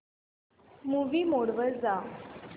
movie mode वर जा